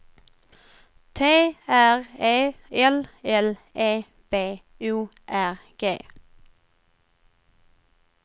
T R E L L E B O R G